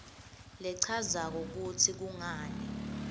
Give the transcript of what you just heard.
lechazako kutsi kungani